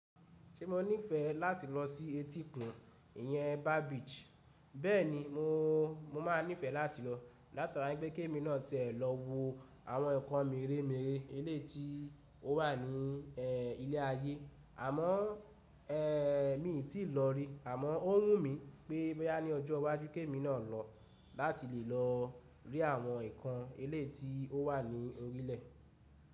Ṣé mo nífẹ̀ẹ́ láti lọ sí etíkun, ìyẹn Beach? Bẹ́ẹ̀ni, mo, mo máa nífẹ̀ẹ́ láti lọ. Látara pé ki ẹ́mi náà tiẹ̀ lọ wo àwọn ǹkan mìírè mìírè ẹ̀leyi tí ó wà ní ẹ ilẹ̀ ayé. Àmọ́ ẹ mi ò tíì lọ rí. Àmọ́ ó wù mí pé boya ní ọjọ́ wajú ki ẹ́mi náà lọ láti lè lọ rí àwọn ǹkan eleyi tí ó wà ní orílẹ̀.